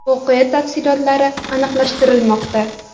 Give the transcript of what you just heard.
Voqea tafsilotlari aniqlashtirilmoqda.